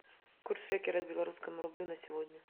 курс шекеля к белорусскому рублю на сегодня